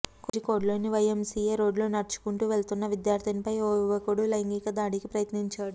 కోజికోడ్లోని YMCA రోడ్డులో నడుచుకుంటూ వెళ్తున్న విద్యార్థినిపై ఓ యువకుడు లైంగిక దాడికి యత్నించాడు